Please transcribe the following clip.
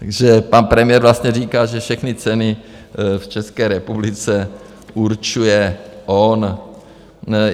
Takže pan premiér vlastně říká, že všechny ceny v České republice určuje on.